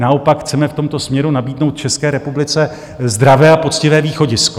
Naopak chceme v tomto směru nabídnout České republice zdravé a poctivé východisko.